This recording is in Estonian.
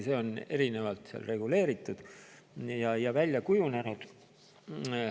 See on seal erinevalt reguleeritud ja välja kujunenud.